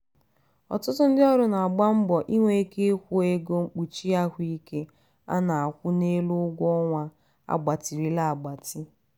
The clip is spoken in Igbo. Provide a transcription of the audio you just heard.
ọtụtụ ndị ọrụ na-agba mbọ inwe ike ịkwụ ego mkpuchi ahụike a na-akwụ n'elu ụgwọ ọnwa a gbatịrịla agbatị.